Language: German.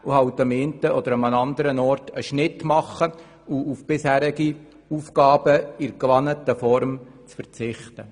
Das heisst auch, am einen oder anderen Ort einen Schnitt zu machen und auf bisherige Aufgaben in der gewohnten Form zu verzichten.